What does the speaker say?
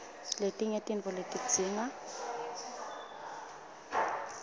letinye tintfo letidzinga